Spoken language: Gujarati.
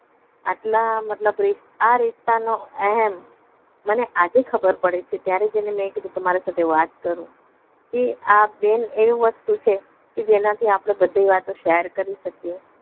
આટલા મતલબ આ રિસ્તા નો એહેમ મને આજે ખબર પડે છે ત્યારે જઈને મેં કીધું તમારી સાથે વાત કરું કે આ બેન એવી વસ્તુ છે કે જેનાથી આપણે બધી વાતો share કરી શકીએ